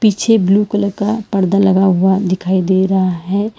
पीछे blue colour का पर्दा लगा हुआ दिखाई दे रहा है।